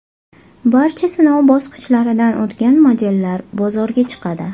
Barcha sinov bosqichlaridan o‘tgan modellar bozorga chiqadi.